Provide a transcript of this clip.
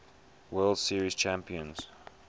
world series champions